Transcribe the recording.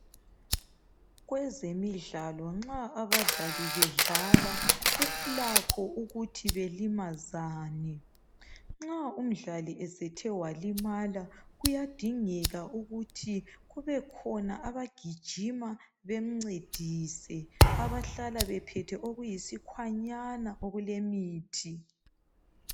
Kwezemidlalo nxa abadlali bedlala kulakho ukuthi belimazane. Nxa umdlali esethe walimala kuyadingeka ukuthi kubekhona abagijima bemncedise, abahlala bephethe okuyisikwanyana okulemithi.